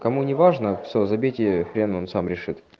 кому не важно все забейте хрен он сам решит